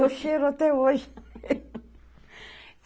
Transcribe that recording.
Eu cheiro até hoje.